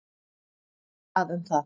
Hver bað um það?